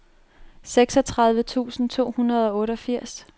seksogtredive tusind to hundrede og otteogfirs